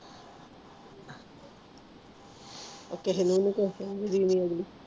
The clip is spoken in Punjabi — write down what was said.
ਓ ਕਿਸੇ ਨੂੰ ਕੁਛ ਟਾਈਮ ਦੇ